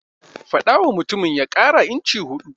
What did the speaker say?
Faɗawa mutumin ya ƙara inci huɗu.